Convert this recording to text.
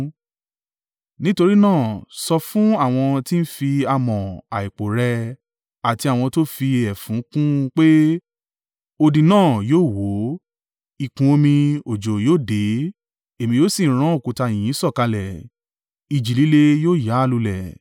nítorí náà, sọ fún àwọn tí ń fi amọ̀ àìpò rẹ́ ẹ àti àwọn tó fi ẹfun kùn ún pé, odi náà yóò wó, ìkún omi òjò yóò dé, Èmi yóò sì rán òkúta yìnyín sọ̀kalẹ̀, ìjì líle yóò ya á lulẹ̀.